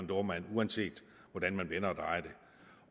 dohrmann uanset hvordan man vender